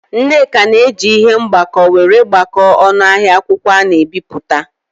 Nneka na-eji ihe mgbako were gbakọọ ọnụ ahịa akwụkwọ ana-ebipụta.